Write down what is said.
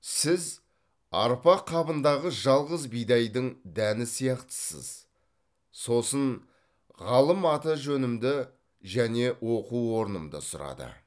сіз арпа қабындағы жалғыз бидайдың дәні сияқтысыз сосын ғалым аты жөнімді және оқу орнымды сұрады